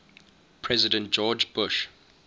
president george bush